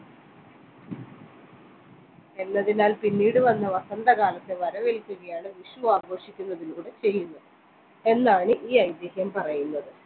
എന്നതിനാൽ പിന്നീട് വന്ന വസന്തകാലത്ത് വരവേൽക്കുകയാണ് വിഷു ആഘോഷിക്കുന്നതിലൂടെ ചെയ്യുന്നു എന്നാണ് ഈ ഐതിഹ്യം പറയുന്നത്